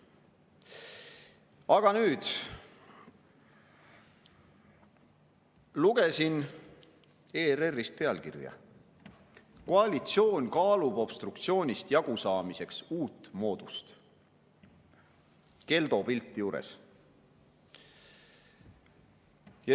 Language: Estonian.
Aga nüüd: lugesin ERR‑ist pealkirja "Koalitsioon kaalub obstruktsioonist jagusaamiseks uut moodust", Keldo pilt juures.